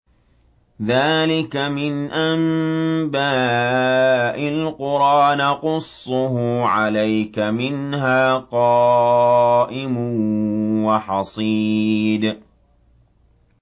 ذَٰلِكَ مِنْ أَنبَاءِ الْقُرَىٰ نَقُصُّهُ عَلَيْكَ ۖ مِنْهَا قَائِمٌ وَحَصِيدٌ